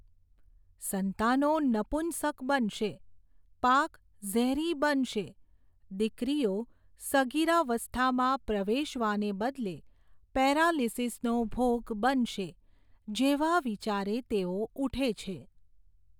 સંતાનો નપુંસક બનશે, પાક ઝેરી બનશે, દીકરીઓ સગીરાવસ્થામાં પ્રવેશવાને બદલે પેરાલિસીસનો ભોગ બનશે, જેવા વિચારે તેવો ઊઠે છે.